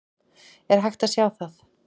Er hægt að sjá það?